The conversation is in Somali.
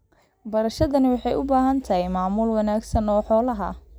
Beerashadani waxay u baahan tahay maamul wanaagsan oo xoolaha ah.